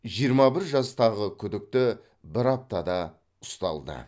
жиырма бір жастағы күдікті бір аптада ұсталды